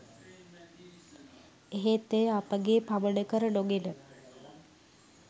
එහෙත් එය අපගේ පමණ කර නොගෙන